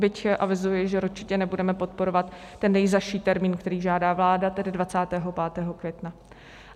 Byť avizuji, že určitě nebudeme podporovat ten nejzazší termín, který žádá vláda, tedy 25. května.